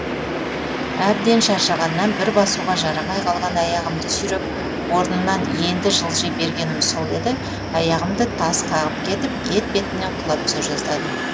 әбден шаршағаннан бір басуға жарамай қалған аяғымды сүйреп орнымнан енді жылжи бергенім сол еді аяғымды тас қағып кетіп етпетімнен құлап түсе жаздадым